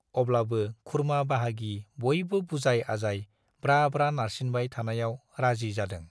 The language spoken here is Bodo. अब्लाबो खुरमा-बाहागि बयबो बुजाय-आजाय ब्रा-ब्रा नारसिनबाय थानायाव राजि जादों।